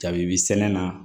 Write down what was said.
Dabi sɛnɛ na